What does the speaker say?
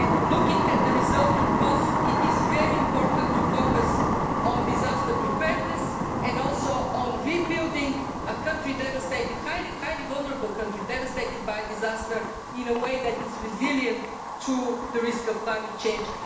profound. Looking at the resulting cost, it is very important to focus on disaster preparedness and also on rebuilding a highly vulnerable country devastated by a disaster in a way that is resilient to the risk of climate